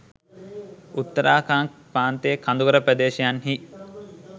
උත්තරාකන්ද් ප්‍රාන්තයේ කඳුකර ප්‍රදේශයන්හි